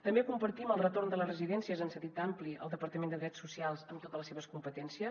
també compartim el retorn de les residències en sentit ampli al departament de drets socials amb totes les seves competències